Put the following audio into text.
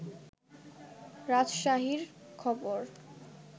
রাজশাহীর খবর